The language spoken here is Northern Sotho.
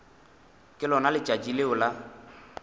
ke lona letšatši leo la